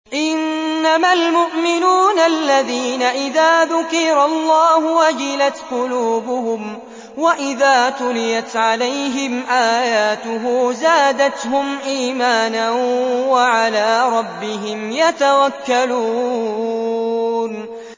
إِنَّمَا الْمُؤْمِنُونَ الَّذِينَ إِذَا ذُكِرَ اللَّهُ وَجِلَتْ قُلُوبُهُمْ وَإِذَا تُلِيَتْ عَلَيْهِمْ آيَاتُهُ زَادَتْهُمْ إِيمَانًا وَعَلَىٰ رَبِّهِمْ يَتَوَكَّلُونَ